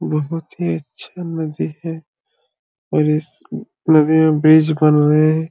बहुत बहुत ही अच्छा नदी है और इस नदी में बिच बोंबे।